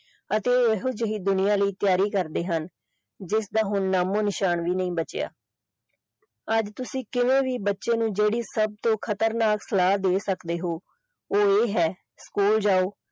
ਅਤੇ ਇਹੋ ਜਿਹੀ ਦੁਨੀਆ ਲਈ ਤਿਆਰੀ ਕਰਦੇ ਹਨ ਜਿਸਦਾ ਹੁਣ ਨਾਮੁਨਿਸ਼ਾਨ ਨਹੀਂ ਬਚਿਆ ਅੱਜ ਤੁਸੀਂ ਕਿਸੇ ਵੀ ਬੱਚੇ ਨੂੰ ਜਿਹੜੀ ਸਬ ਤੋਂ ਖਤਰਨਾਕ ਸਲਾਹ ਦੇ ਸਕਦੇ ਹੋ ਉਹ ਇਹ ਹੈ school ਜਾਓ।